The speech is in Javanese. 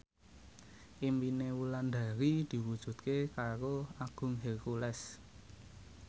impine Wulandari diwujudke karo Agung Hercules